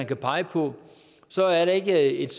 kan pege på så er der ikke et